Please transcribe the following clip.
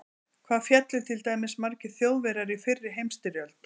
Hvað féllu til dæmis margir Þjóðverjar í fyrri heimsstyrjöld?